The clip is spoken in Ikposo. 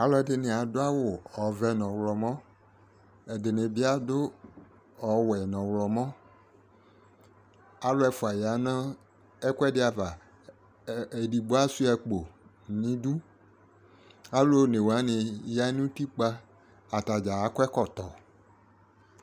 Alʋɛdɩnɩ adʋ awʋ ɔvɛ n'ɔɣlɔmɔ , ɛdɩnɩ bɩ adʋ ɔwɛ n'ɔɣlɔmɔ Alʋ ɛfʋa ya nʋ ɛkʋɛdɩ ava : edigbo asʋɩa akpo n'idu , alʋ one wanɩ ya n' utikpa atadza akɔ ɛkɔtɔ